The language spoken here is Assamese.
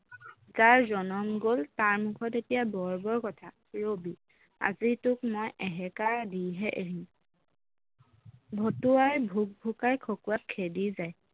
যাৰ জনম গল তাৰ মুখত এতিয়া বৰ বৰ কথা ৰবি আজি তোক মই এসেকা দিহে এৰিম ভতুৱাই ভুক ভুকাই খকুৱাক খেদি যায়